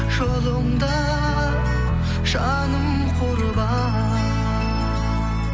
жолыңда жаным құрбан